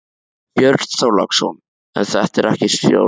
Björn Þorláksson: En er þetta ekki stórtjón?